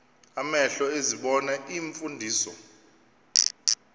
amehlo ezibona iimfundiso